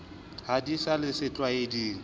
ha di sa le setlwaeding